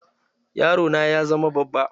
Yaro na ya zama babba.